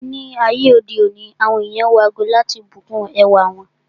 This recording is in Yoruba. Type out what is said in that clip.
Ni ayé òde òní, àwọn ènìyàn wọ ago láti bùkún ẹwà wọn.